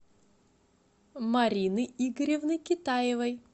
марины игоревны китаевой